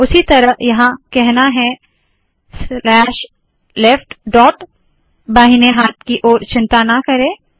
उसी तरह यहाँ कहना है स्लैश लेफ्ट डॉट बहिने हाथ की ओर चिंता ना करे